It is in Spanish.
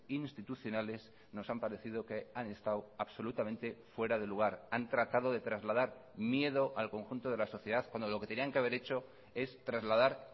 institucionales nos han parecido que han estado absolutamente fuera de lugar han tratado de trasladar miedo al conjunto de la sociedad cuando lo que tenían que haber hecho es trasladar